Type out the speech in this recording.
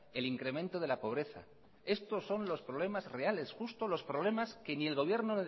el incremento de la pobreza estos son los problemas reales justo los problemas que ni el gobierno